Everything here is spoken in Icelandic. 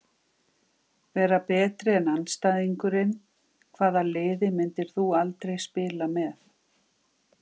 Vera betri en andstæðingurinn Hvaða liði myndir þú aldrei spila með?